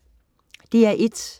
DR1: